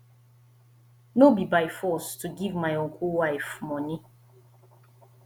no be by force to give my uncle wife money